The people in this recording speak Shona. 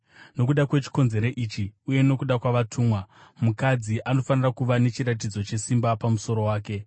Nokuda kwechikonzero ichi, uye nokuda kwavatumwa, mukadzi anofanira kuva nechiratidzo chesimba pamusoro wake.